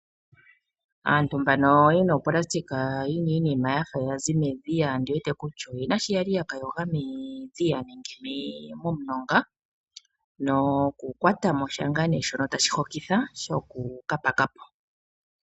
Aantu mbano ye na opulasitika yi na iinima ya fa ya zi medhiya ondi wete kutya oye na shiya li ya ka yoga medhiya nenge momulonga nokukwata mo sha shono tashi hokitha shokuka paka po.